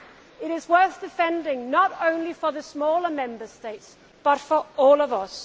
It is worth defending not only for the smaller Member States but for all of